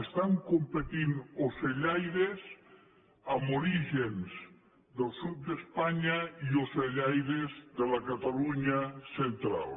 estan competint ocellaires amb orígens del sud d’espanya i ocellaires de la catalunya central